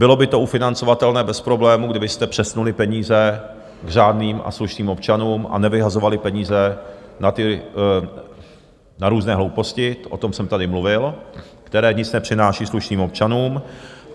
Bylo by to ufinancovatelné bez problému, kdybyste přesunuli peníze k řádným a slušným občanům a nevyhazovali peníze na různé hlouposti, o tom jsem tady mluvil, které nic nepřináší slušným občanům.